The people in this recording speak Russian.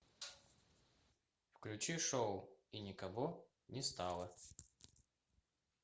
включи шоу и никого не стало